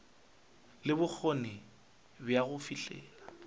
le bokgoni bja go fihlelela